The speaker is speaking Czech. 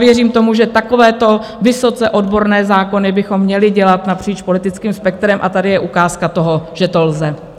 Věřím tomu, že takovéto vysoce odborné zákony bychom měli dělat napříč politickým spektrem, a tady je ukázka toho, že to lze.